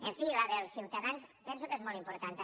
en fi la dels ciutadans penso que és molt important també